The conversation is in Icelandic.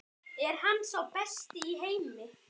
Er hann sá besti í heimi?